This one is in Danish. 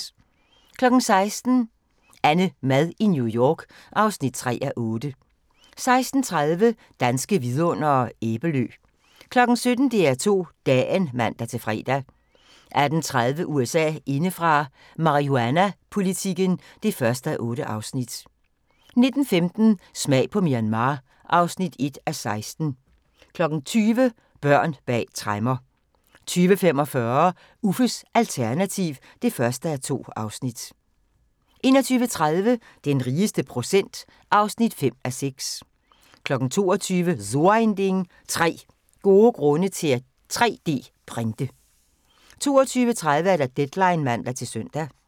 16:00: AnneMad i New York (3:8) 16:30: Danske Vidundere: Æbelø 17:00: DR2 Dagen (man-fre) 18:30: USA indefra: Marihuanapolitikken (1:8) 19:15: Smag på Myanmar (1:16) 20:00: Børn bag tremmer 20:45: Uffes alternativ (1:2) 21:30: Den rigeste procent (5:6) 22:00: So ein Ding: 3 gode grunde til at 3D-printe 22:30: Deadline (man-søn)